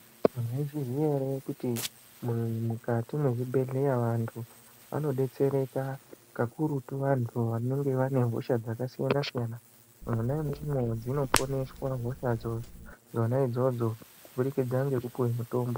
Maizviziya ere kuti mukati mwezvibhehleya vantu vanodetsereka. Kakurutu vantu vanenge vanehosha dzakasiyana-siyana. Mwona imwomwo dzinoponeswa hosha dzona idzodzo kuburikidza ngekupuwe mutombo.